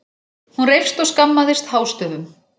Hún reifst og skammaðist hástöfum.